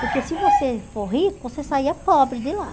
Porque se você for rico, você saía pobre de lá.